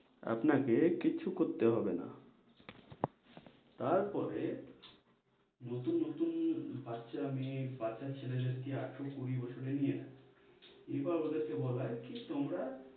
আপনাকে কিছু করতে হবে না তারপরে নতুন-নতুন বাচ্চা মেই, বাচ্চা ছেলেদের কে আঠারো-কুড়ি বছরে নিয়ে আই, এবার ওদের কে বলাই কি তোমরা